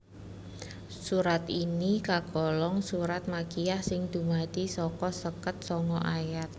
Surat ini kagolong surat makkiyah sing dumadi saka seket sanga ayat